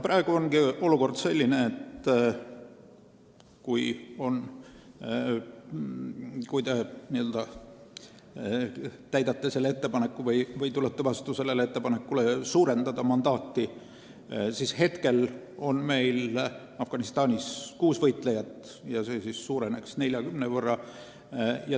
Praegu on olukord selline, et meil on Afganistanis kuus võitlejat ja kui te selle ettepaneku n-ö täidate või tulete vastu otsusele mandaati suurendada, siis see arv suureneks 40 võrra.